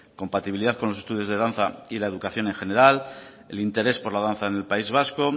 compatibilidad con los estudios de danza y la educación en general el interés por la danza en el país vasco